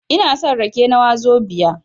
Ina son rake na wazobia